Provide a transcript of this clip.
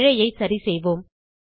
பிழையை சரிசெய்வோம்